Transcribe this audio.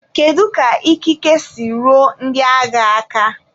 Kedu ka ikike si ruo ndị agha aka?